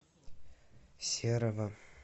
серова